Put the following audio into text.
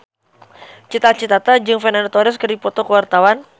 Cita Citata jeung Fernando Torres keur dipoto ku wartawan